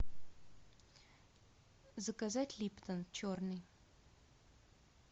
заказать липтон черный